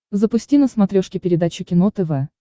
запусти на смотрешке передачу кино тв